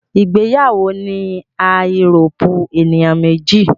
ìgbéyàwó ní a Euróòpu ènìyàn méjì